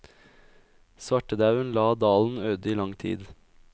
Svartedauen la dalen øde i lang tid.